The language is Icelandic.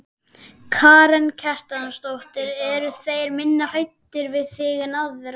Karen Kjartansdóttir: Eru þeir minna hræddir við þig en aðra?